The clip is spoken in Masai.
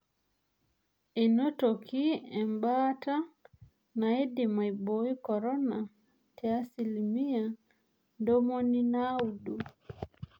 Einotoki embaata naidim aibooi korona te asilimia ntomoni naudo.